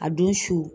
A don su